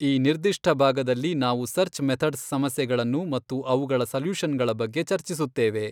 ಈ ನಿರ್ದಿಷ್ಟ ಭಾಗದಲ್ಲಿ ನಾವು ಸರ್ಚ್ ಮೆಥಡ್ಸ್ ಸಮಸ್ಯೆಗಳನ್ನು ಮತ್ತು ಅವುಗಳ ಸಲ್ಯೂಶನ್ ಗಳ ಬಗ್ಗೆ ಚರ್ಚಿಸುತ್ತೇವೆ.